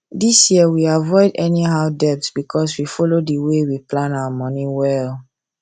this year we avoid any how debt because we follow the way we plan our money well